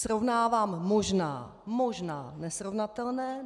Srovnávám možná - možná - nesrovnatelné.